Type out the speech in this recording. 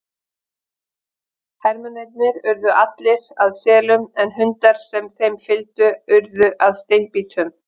Hermennirnir urðu allir að selum en hundar sem þeim fylgdu urðu að steinbítum.